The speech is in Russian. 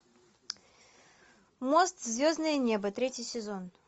мост в звездное небо третий сезон